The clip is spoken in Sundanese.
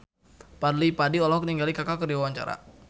Fadly Padi olohok ningali Kaka keur diwawancara